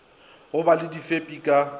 go ba le difepi ka